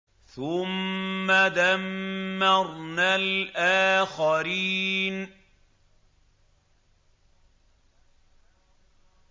ثُمَّ دَمَّرْنَا الْآخَرِينَ